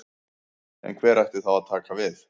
En hver ætti þá að taka við?